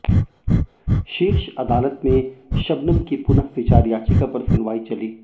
शीर्ष अदालत में शबनम की पुनःविचार याचिका पर सुनवाई चली